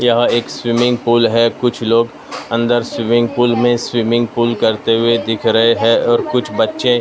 यह एक swimming pool है कुछ लोग अंदर स्विमिंग पूल में स्विमिंग पूल करते हुए दिख रहे हैं और कुछ बच्चे--